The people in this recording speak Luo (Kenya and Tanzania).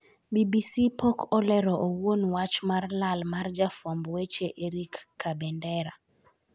BBC pok olero owuon wach mar lal mar jafwamb weche Erick Kabendera.